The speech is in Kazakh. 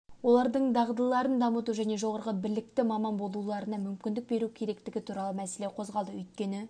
олардың дағдыларын дамыту және жоғары білікті маман болуларына мүмкіндік беру керектігі туралы мәселе қозғалды өйткені